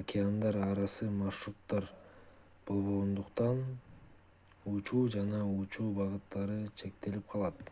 океандар арасы маршруттар болбогондуктан учуу жана учуу багыттары чектелип калат